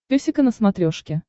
песика на смотрешке